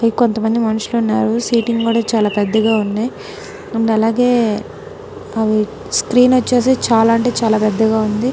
ఇంకొంతమంది మనుషులు ఉన్నారు సీటింగ్ కూడా చాలా పెద్దగా ఉన్నాయి అండ్ అలాగే స్క్రీన్ వచ్చేసి చాలా పెద్దగా అంటే చాలా పెద్దగా ఉంది.